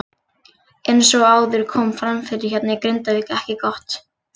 Eins og áður kom fram veðrið hérna í Grindavík ekki gott.